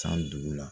San dugu la